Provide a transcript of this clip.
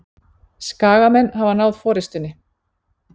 Skagamenn hafa náð forystunni